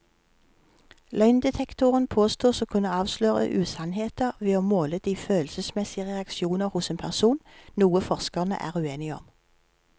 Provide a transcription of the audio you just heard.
Løgndetektoren påstås å kunne avsløre usannheter ved å måle de følelsesmessige reaksjoner hos en person, noe forskerne er uenige om.